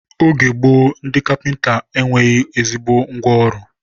oge gboo, ndị kapịnta e nweghị ezigbo ngwa ọrụ.